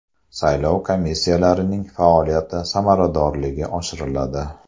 Saylov komissiyalarining faoliyati samaradorligi oshiriladi.